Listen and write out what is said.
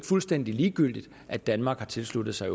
fuldstændig ligegyldigt at danmark har tilsluttet sig